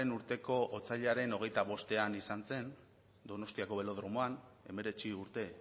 urteko otsailaren hogeita bostean izan zen donostiako belodromoan hemeretzi urte